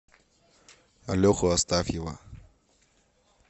леху астафьева